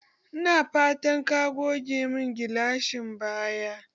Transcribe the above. Ina fatan ka goge mun gilashin baya?